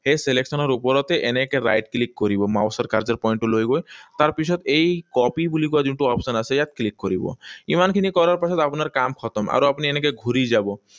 সেই selection ৰ ওপৰতে এনেকৈ right click কৰিব mouse ৰ cursor point টো লৈ গৈ। তাৰপিছত এই copy বুলি কোৱা যোনটো option আছে, ইয়াত click কৰিব। ইমানখিনি কৰাৰ পাছত আপোনাৰ কাম খটম। আৰু আপুনি এনেকৈ ঘূৰি যাব।